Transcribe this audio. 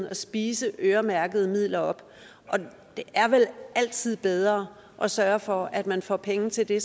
at spise øremærkede midler op og det er vel altid bedre at sørge for at man får penge til det